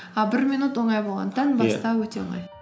а бір минут оңай болғандықтан өте оңай